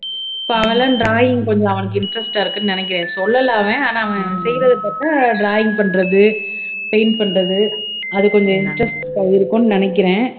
so அவன் எல்லாம் drawing கொஞ்சம் அவனுக்கு interest ஆ இருக்குன்னு நினைக்கிறேன் சொல்லலை அவன் ஆனா அவன் செய்யறதை பாத்தா drawing பண்றது paint பண்றது அது கொஞ்சம் interest ஆ இருக்கும்னு நினைக்கிறேன்